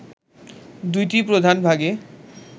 দুইটি প্রধান ভাগে